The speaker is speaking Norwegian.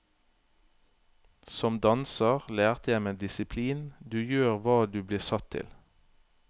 Som danser lærte jeg meg disiplin, du gjør hva du blir satt til.